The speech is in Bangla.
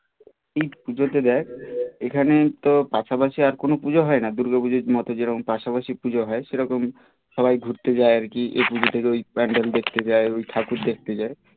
ঠিক পুজোতে দেখ এখানে তো পাশাপাশি আর কোনো পুজো হয় না দুর্গ পুজোর মতো যেরকম পাশাপাশি পুজো হয় সেরকম সবাই ঘুরতে যায় আর কি এ পুজো থেকে প্যান্ডেল দেখতে যায় ঠাকুর দেখতে যায়